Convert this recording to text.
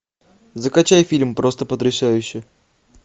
закачай фильм просто потрясающе